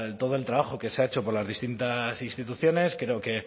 todo el trabajo que se ha hecho por las distintas instituciones creo que